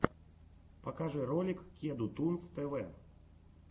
покажи ролик кеду тунс тв